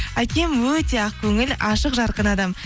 әкем өте ақ көңіл ашық жарқын адам